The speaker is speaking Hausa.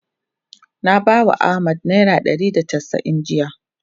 Na bawa Ahmad naira ɗari da casa'in jiya.